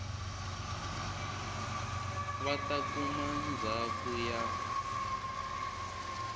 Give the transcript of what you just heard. va ta kuma ndzhaka ya